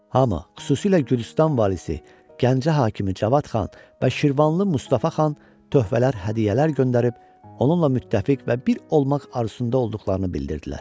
Hamı, xüsusilə Gürcüstan valisi, Gəncə hakimi Cavad Xan və Şirvanlı Mustafa Xan töhfələr, hədiyyələr göndərib, onunla müttəfiq və bir olmaq arzusunda olduqlarını bildirdilər.